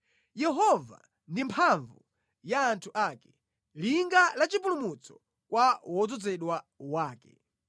Yehova ndi mphamvu ya anthu ake, linga la chipulumutso kwa wodzozedwa wake.